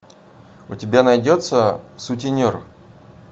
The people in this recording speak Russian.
у тебя найдется сутенер